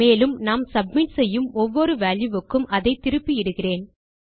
மேலும் நாம் சப்மிட் செய்யும் ஒவ்வொரு வால்யூ க்கும் அதை திருப்பி இடுகிறேன்